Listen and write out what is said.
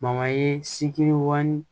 ye sikiri ŋɔni